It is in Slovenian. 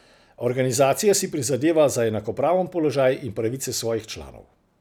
Organizacija si prizadeva za enakopraven položaj in pravice svojih članov.